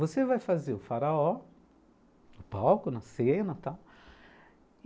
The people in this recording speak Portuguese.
Você vai fazer o Faraó no palco, na cena e tal.